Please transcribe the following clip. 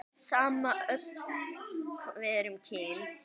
Sama öll við erum kyn.